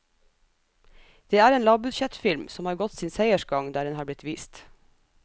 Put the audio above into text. Det er en lavbudsjettfilm, som har gått sin seiersgang der den har blitt vist.